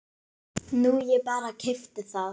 Nú ég bara. keypti það.